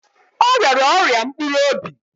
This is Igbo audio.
Ọ rịara ọrịa mpkuru obi